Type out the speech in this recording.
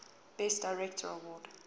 best director award